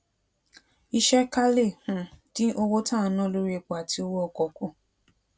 iṣé ká lè um dín owó tá à ń ná lórí epo àti owó ọkò kù